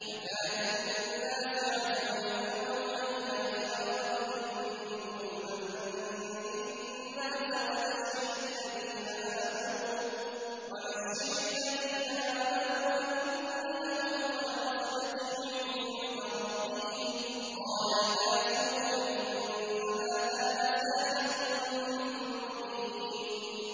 أَكَانَ لِلنَّاسِ عَجَبًا أَنْ أَوْحَيْنَا إِلَىٰ رَجُلٍ مِّنْهُمْ أَنْ أَنذِرِ النَّاسَ وَبَشِّرِ الَّذِينَ آمَنُوا أَنَّ لَهُمْ قَدَمَ صِدْقٍ عِندَ رَبِّهِمْ ۗ قَالَ الْكَافِرُونَ إِنَّ هَٰذَا لَسَاحِرٌ مُّبِينٌ